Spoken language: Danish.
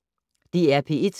DR P1